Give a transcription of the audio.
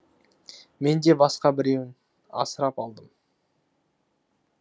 мен де басқа біреуін асырап алдым